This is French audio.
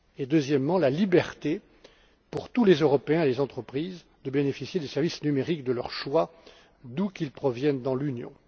Deuxièmement, la liberté pour tous les Européens et les entreprises de bénéficier des services numériques de leur choix, d'où qu'ils proviennent dans l'Union.